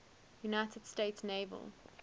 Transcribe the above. united states naval